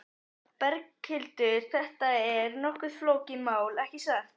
Berghildur, þetta er nokkuð flókið mál, ekki satt?